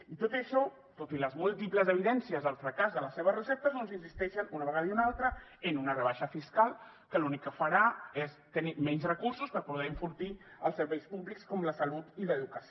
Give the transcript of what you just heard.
i tot i això tot i les múltiples evidències del fracàs de les seves receptes doncs insisteixen una vegada i una altra en una rebaixa fiscal que l’únic que farà és tenir menys recursos per poder enfortir els serveis públics com la salut i l’educació